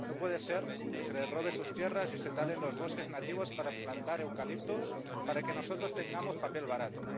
No puede ser que se les robe sus tierras y se talen los bosques nativos para plantar eucaliptos para que nosotros tengamos papel barato